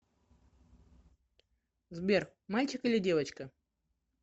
сбер мальчик или девочка